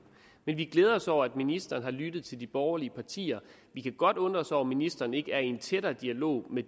men vi glæder os over at ministeren har lyttet til de borgerlige partier vi kan godt undre os over at ministeren ikke er i en tættere dialog med